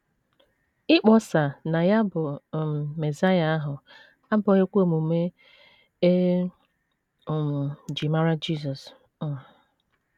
Ịkpọsa na ya bụ um Mesaịa ahụ abụghịkwa omume e um ji mara Jisọs. um